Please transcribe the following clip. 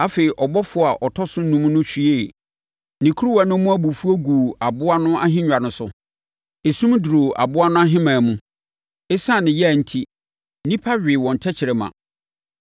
Afei, ɔbɔfoɔ a ɔtɔ so enum no hwiee ne kuruwa no mu abufuo guu aboa no ahennwa no so. Esum duruu aboa no ahemman mu, na ɛsiane yea enti, nnipa wee wɔn tɛkrɛma;